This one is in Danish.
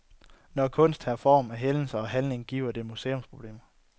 Når kunst tager form af hændelser og handlinger, giver det museumsproblemer.